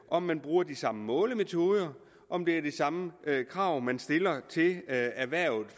om man bruger de samme målemetoder om det er de samme krav man stiller til erhvervet